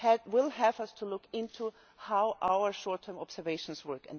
We shall have to look into how our short term observations work.